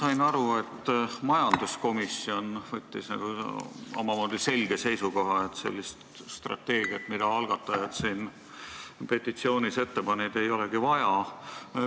Ma sain aru, et majanduskomisjon võttis omamoodi selge seisukoha, et sellist strateegiat, nagu algatajad selles petitsioonis ette panid, ei olegi vaja.